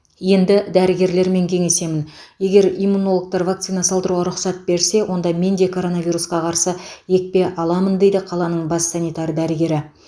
енді дәрігерлермен кеңесемін егер иммунологтар вакцина салдыруға рұқсат берсе онда мен де коронавирусқа қарсы екпе аламын дейді қаланың бас санитар дәрігері